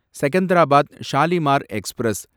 Secunderabad Shalimar express